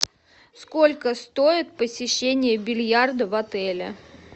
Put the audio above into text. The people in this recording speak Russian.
сколько стоит посещение бильярда в отеле